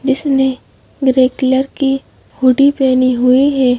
जिसने grey colour की hoodie पहनी हुई है।